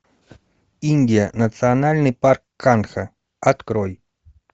индия национальный парк канха открой